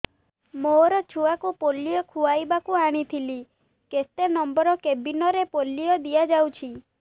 ମୋର ଛୁଆକୁ ପୋଲିଓ ଖୁଆଇବାକୁ ଆଣିଥିଲି କେତେ ନମ୍ବର କେବିନ ରେ ପୋଲିଓ ଦିଆଯାଉଛି